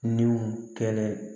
Niw kɛlɛ